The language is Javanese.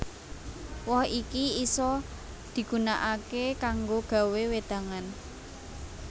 Woh iki isa digunakaké kanggo gawé wédangan